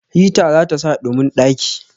hita zata sa ɗumin ɗaki